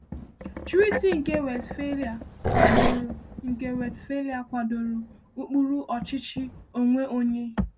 Treaty nke Westphalia kwadoro nke Westphalia kwadoro ụkpụrụ ọchịchị onwe onye.